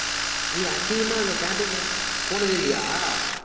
ஏய், அசிங்கமா இல்ல theater க்குலாம் போனதே இல்லையா